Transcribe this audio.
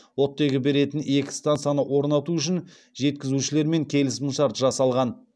оттегі беретін екі стансаны орнату үшін жеткізушілермен келісімшарт жасалған